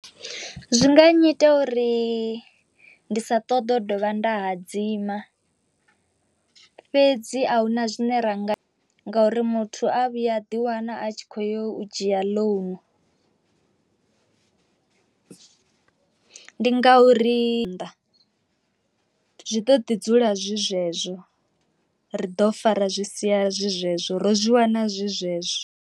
Zwi nga nnyita uri ndi sa ṱoḓe u dovha nda hadzima, fhedzi a huna zwine ra nga ngauri muthu a vhuya a ḓiwana a tshi kho yo u dzhia ḽounu ndi nga u ri nnḓa zwi ḓo ḓi dzula zwi zwezwo, ri ḓo fara zwi sia zwi zwezwo ro zwi wana zwi zwezwo.